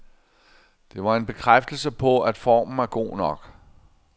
Det var en bekræftelse på, at formen er god nok.